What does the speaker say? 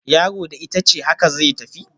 Yaro da itace, haka zai tafi